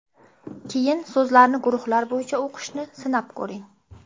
Keyin so‘zlarni guruhlar bo‘yicha o‘qishni sinab ko‘ring.